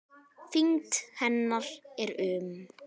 Þyngd hennar er um